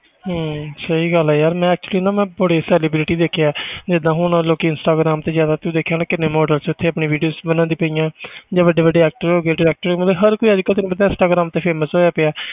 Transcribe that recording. ਹਮ ਸਹੀ ਗੱਲ ਹੈ ਯਾਰ ਮੈਂ actually ਨਾ ਮੈਂ ਬੜੀ ਸਾਰੀ video ਦੇਖੀ ਆ ਜਿੱਦਾਂ ਹੁਣ ਲੋਕੀ ਇੰਸਟਾਗਰਾਮ ਤੇ ਜ਼ਿਆਦਾ ਤੂੰ ਦੇਖਿਆ ਹੋਣਾ ਕਿੰਨੇ models ਉੱਥੇ ਆਪਣੀ videos ਬਣਾਉਂਦੀ ਪਈਆਂ ਜਾਂ ਵੱਡੇ ਵੱਡੇ actor ਹੋ ਗਏ ਤੇ actress ਮਤਲਬ ਹਰ ਕੋਈ ਅੱਜ ਕੱਲ੍ਹ ਤੈਨੂੰ ਪਤਾ ਇੰਸਟਾਗਰਾਮ ਤੇ famous ਹੋਇਆ ਪਿਆ ਹੈ,